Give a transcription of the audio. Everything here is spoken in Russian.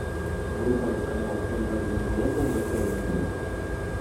врубай канал м один глобал на тв